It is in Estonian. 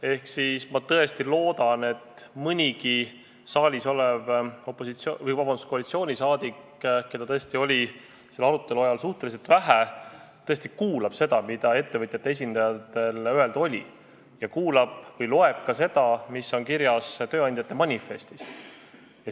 Ehk ma tõesti loodan, et mõnigi saalis olev koalitsiooniliige, keda oli selle arutelu ajal suhteliselt vähe, tõesti kuulab seda, mida ettevõtjate esindajatel öelda oli, ning loeb ka seda, mis on kirjas tööandjate manifestis.